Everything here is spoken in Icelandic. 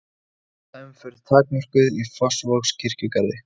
Bílaumferð takmörkuð í Fossvogskirkjugarði